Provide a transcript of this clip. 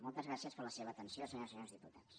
moltes gràcies per la seva atenció senyores i senyors diputats